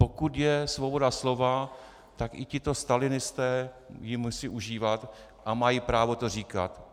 Pokud je svoboda slova, tak i tito stalinisté ji musí užívat a mají právo to říkat.